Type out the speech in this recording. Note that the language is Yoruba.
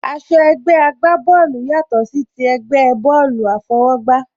Aṣọ ẹgbẹ́ àgbá bọ́ọ̀lù yàtò sí ti ẹgbẹ́ bọ́ọ̀lù àfọwọ́gbá